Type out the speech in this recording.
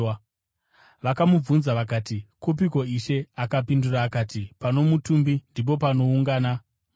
Vakamubvunza vakati, “Kupiko Ishe?” Akapindura akati, “Pano mutumbi, ndipo panoungana magora.”